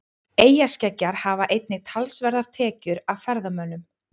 Eyjaskeggjar hafa einnig talsverðar tekjur af ferðamönnum.